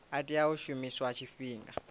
a tea u shumiswa tshifhinga